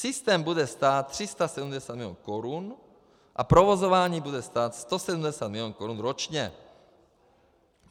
Systém bude stát 370 milionů korun a provozování bude stát 170 milionů korun ročně.